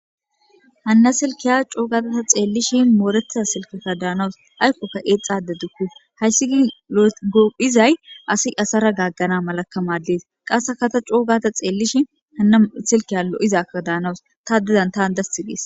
hanna silkiya coogata ta xeellishi mooreta silkeka daanawus aykkoka eexxade dukku hayssi gi goophizay asi asara gaaggana malakamadees qasse kata coogata xeellishi hanna silkiya lo7izaka daanawus ta didan taan dasti gees